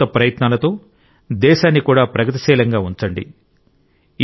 మీ కొత్త ప్రయత్నాలతో దేశాన్ని కూడా ప్రగతిశీలంగా ఉంచండి